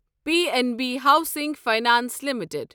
P N B housing finance limited